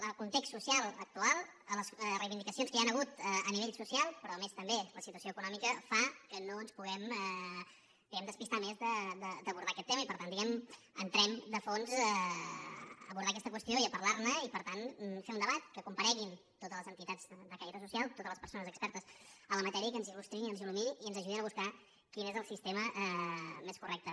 el context social actual les reivindicacions que hi ha hagut a nivell social però a més també la situació econòmica fa que no ens puguem despistar més d’abordar aquest tema i per tant diguem ne entrem a fons a abordar aquesta qüestió i a parlar ne i per tant fer un debat que compareguin totes les entitats de caire social totes les persones expertes en la matèria i que ens il·buscar quin és el sistema més correcte